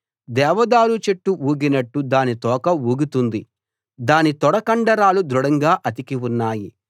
దేవదారు చెట్టు ఊగినట్టు దాని తోక ఊగుతుంది దాని తొడ కండరాలు దృఢంగా అతికి ఉన్నాయి